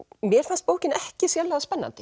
mér fannst bókin ekki sérlega spennandi